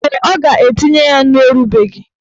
Mgbe ọ ga-etinye ya nnu erubeghị.